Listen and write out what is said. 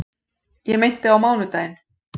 Ég meinti á mánudaginn.